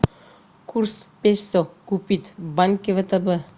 курс песо купить в банке втб